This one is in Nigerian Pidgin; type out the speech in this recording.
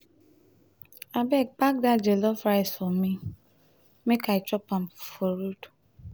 abeg pack dat jellof rice for me me make i chop am for road.